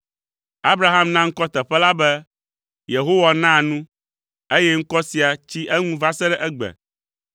Abraham na ŋkɔ teƒe la be, “Yehowa naa nu,” eye ŋkɔ sia tsi eŋu va se ɖe egbe.